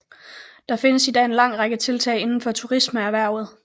Der findes i dag en lang række tiltag indenfor turismeerhvervet